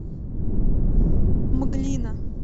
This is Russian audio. мглина